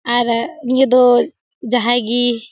आर निया दो जहाए गी।